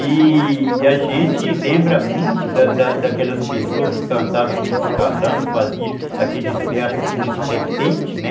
E a gente lembra muito da da daquelas pessoas que cantavam aqueles calangos, faziam aqueles versos assim, nos repente, né?